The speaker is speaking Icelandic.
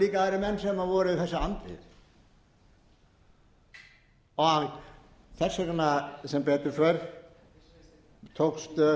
líka aðrir menn sem voru þessu andvígir þess vegna sem betur fer tókst